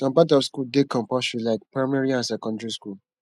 some part of school dey compulsory like primary and secondary school